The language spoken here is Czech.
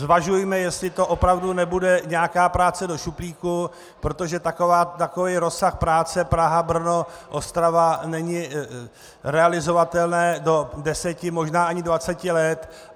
Zvažujme, jestli to opravdu nebude nějaká práce do šuplíku, protože takový rozsah práce Praha-Brno-Ostrava není realizovatelný do deseti, možná ani dvaceti let.